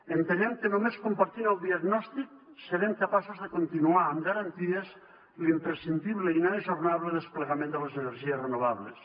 entenem que només compartint el diagnòstic serem capaços de continuar amb garanties l’imprescindible i inajornable desplegament de les energies renovables